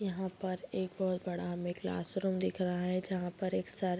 यहाँ पर एक बहुत बड़ा हमें क्लासरूम दिख रहा है जहाँ पर एक सर --